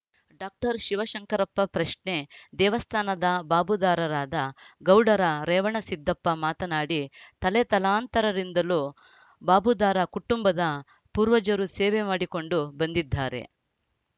doctor Shivashankarappa ಪ್ರಶ್ನೆ ದೇವಸ್ಥಾನದ ಬಾಬುದಾರರಾದ ಗೌಡರ ರೇವಣಸಿದ್ದಪ್ಪ ಮಾತನಾಡಿ ತಲೆತಲಾಂತರರಿಂದಲೂ ಬಾಬುದಾರ ಕುಟುಂಬದ ಪೂರ್ವಜರು ಸೇವೆ ಮಾಡಿಕೊಂಡು ಬಂದಿದ್ದಾರೆ